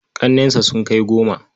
Ƙannensa sun kai goma.